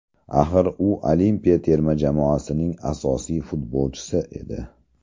Axir, u olimpiya terma jamoasining asosiy futbolchisi edi.